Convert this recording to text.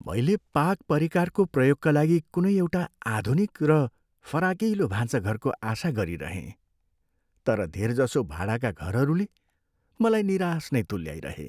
मैले पाक परिकारको प्रयोगका लागि कुनै एउटा आधुनिक र फराकिलो भान्साघरको आशा गरिरहेँ तर धेर जसो भाडाका घरहरूले मलाई निराश नै तुल्याइरहे।